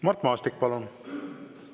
Mart Maastik, palun!